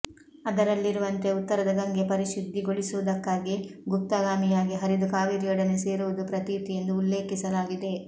ಅದರಲ್ಲಿರುವಂತೆ ಉತ್ತರದ ಗಂಗೆ ಪರಿಶುದ್ಧಿಗೊಳಿಸುವುದಕ್ಕಾಗಿ ಗುಪ್ತಗಾಮಿಯಾಗಿ ಹರಿದು ಕಾವೇರಿಯೊಡನೆ ಸೇರುವುದು ಪ್ರತೀತಿ ಎಂದು ಉಲ್ಲೇಖಿಸಲಾಗಿದೆ